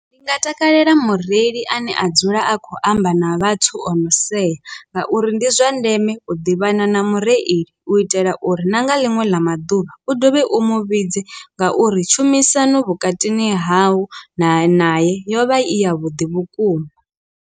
Ndi nga takalela mureili ane a dzula a khou amba na vhathu ono sea ngauri ndi zwa ndeme u ḓivhana na mureili u itela uri na nga ḽiṅwe ḽa maḓuvha u dovhe u muvhidze ngauri tshumisano vhukatini hau nae naye yovha i ya vhuḓi vhukuma.